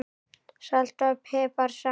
Salt og pipar salat